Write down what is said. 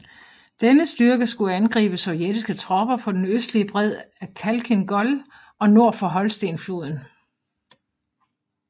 Denne styrke skulle angribe sovjetiske tropper på den østlige bred af Khalkhyn Gol og nord for Holsten floden